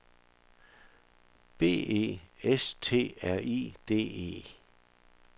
B E S T R I D E